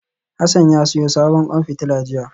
Hassan ya siyo sabon kwan fitila jiya